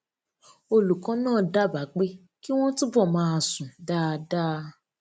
olùkó náà dábàá pé kí wón túbò máa sùn dáadáa